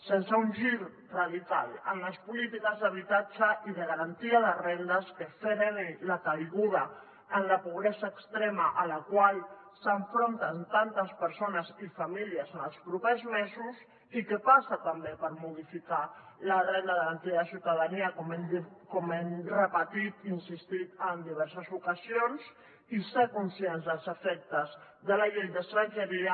sense un gir radical en les polítiques d’habitatge i de garantia de rendes que freni la caiguda en la pobresa extrema a la qual s’enfronten tantes persones i famílies en els propers mesos i que passa també per modificar la renda garantida de ciutadania com hem repetit i insistit en diverses ocasions i ser conscients dels efectes de la llei d’estrangeria